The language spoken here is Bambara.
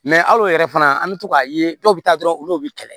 hal'o yɛrɛ fana an bɛ to k'a ye dɔw bɛ taa dɔrɔn olu bɛ kɛlɛ